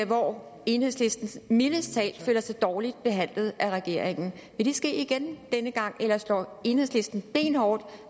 hvor enhedslisten mildest talt føler sig dårligt behandlet af regeringen vil det ske igen denne gang eller står enhedslisten benhårdt